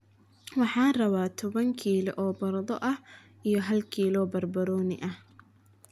Waxaan rabaa toban kiilo oo baradho ah iyo hal kilo oo barbaroni ah